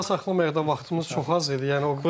Sabahlıq meydana vaxtımız çox az idi.